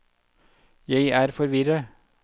jeg er forvirret